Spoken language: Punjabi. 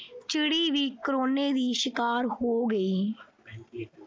ਚਿੜੀ ਵੀ corona ਦੀ ਸ਼ਿਕਾਰ ਹੋ ਗਈ।